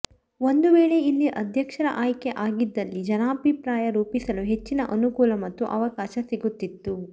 ಒಂದು ವೇಳೆ ಇಲ್ಲಿ ಅಧ್ಯಕ್ಷರ ಆಯ್ಕೆ ಆಗಿದ್ದಲ್ಲಿ ಜನಾಭಿಪ್ರಾಯ ರೂಪಿಸಲು ಹೆಚ್ಚಿನ ಅನುಕೂಲ ಮತ್ತು ಅವಕಾಶ ಸಿಗುತಿತ್ತು